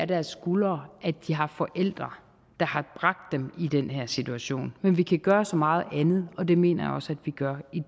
deres skuldre at de har forældre der har bragt dem i den her situation men vi kan gøre så meget andet og det mener jeg også at vi gør i